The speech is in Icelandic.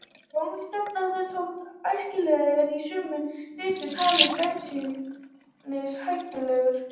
Tónskrattinn þótti ekki æskilegur og er í sumum ritum talinn beinlínis hættulegur.